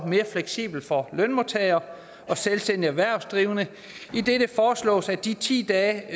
mere fleksibel for lønmodtagere og selvstændige erhvervsdrivende idet det foreslås at de ti dage